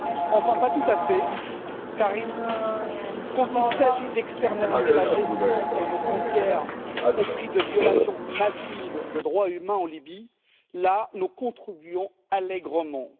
Enfin, pas tout à fait, car quand il s'agit d'externaliser la gestion de nos frontières, au prix de violations massives de droits humains en Libye, là nous contribuons allègrement.